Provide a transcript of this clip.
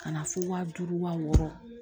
Ka na fo wa duuru wa wɔɔrɔ